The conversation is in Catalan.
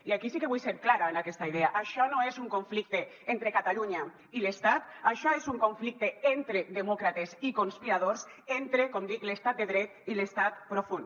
i aquí sí que vull ser clara en aquesta idea això no és un conflicte entre catalunya i l’estat això és un conflicte entre demòcrates i conspiradors entre com dic l’estat de dret i l’estat profund